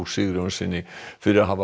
Sigurjónssyni fyrir að hafa